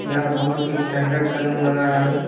यह बहुत ही स्टैंडर्ड सैलून लग रहा है।